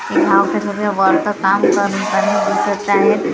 हे काम करणारे वर्कर काम करताना दिसतं आहेत.